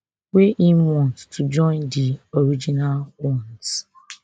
wey im want to join di original ones